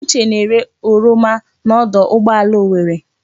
Uche na-ere oroma n'ọdụ ụgbọala Owerre.